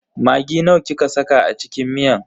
Maggi nawa kika saka a cikin miyan?